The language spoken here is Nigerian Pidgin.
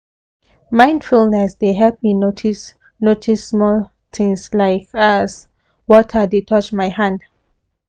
mindfulness dey help me notice notice small things like as water dey touch my hand